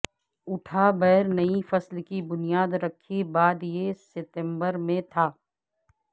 اٹھا بیر نئی فصل کی بنیاد رکھی بعد یہ ستمبر میں تھا